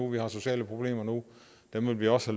vi har sociale problemer nu og dem vil vi også